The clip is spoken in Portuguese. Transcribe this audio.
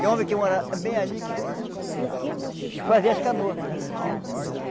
Tem homem que mora bem ali que que fazia as canoas.